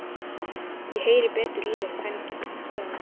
Ég heyri betur í þér um helgina, sagði hann.